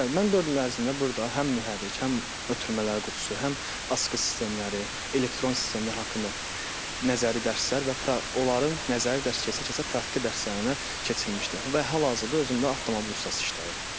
Bəli, mən dörd il ərzində burda həm mühərrik, həm ötürmələr qutusu, həm asqı sistemləri, elektron sistemlər haqqında nəzəri dərslər və onların nəzəri dərs keçə-keçə praktiki dərslərinə keçirilmişdi və hal-hazırda özümdə avtomobil ustası işləyirəm.